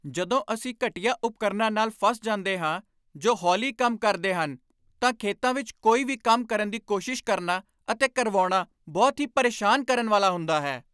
ਜਦੋਂ ਅਸੀਂ ਘਟੀਆ ਉਪਕਰਣਾਂ ਨਾਲ ਫਸ ਜਾਂਦੇ ਹਾਂ ਜੋ ਹੌਲੀ ਕੰਮ ਕਰਦੇ ਹਨ ਤਾਂ ਖੇਤਾਂ ਵਿੱਚ ਕੋਈ ਵੀ ਕੰਮ ਕਰਨ ਦੀ ਕੋਸ਼ਿਸ਼ ਕਰਨਾ ਅਤੇ ਕਰਵਾਉਣਾ ਬਹੁਤ ਹੀ ਪਰੇਸ਼ਾਨ ਕਰਨ ਵਾਲਾ ਹੁੰਦਾ ਹੈ।